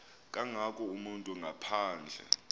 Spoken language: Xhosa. kangako umntu ngaphandle